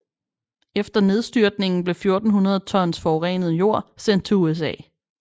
Efter nedstyrtningen blev 1400 tons forurenet jord sendt til USA